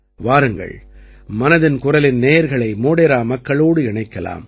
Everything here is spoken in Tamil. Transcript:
வாருங்கள் மனதின் குரலின் நேயர்களை மோடேரா மக்களோடு இணைக்கலாம்